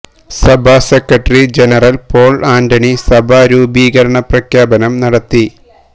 സഭാ secretary general Paul Antony സഭാ രൂപീകരണ പ്രഖ്യാപനം നടത്തി